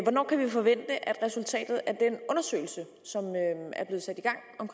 hvornår kan vi forvente at resultatet af den undersøgelse som